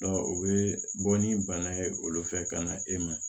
o bɛ bɔ ni bana ye olu fɛ ka na e ma